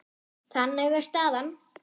Þannig er staðan.